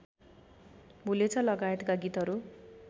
भुलेछ लगायतका गीतहरू